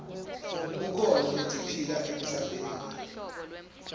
kukhona letiphila emhlabeni